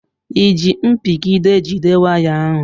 I ji mpigide jide waya ahụ?